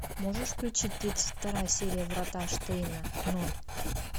можешь включить тридцать вторая серия врата штейна ноль